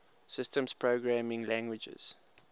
systems programming languages